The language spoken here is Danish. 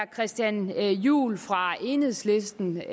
christian juhl fra enhedslisten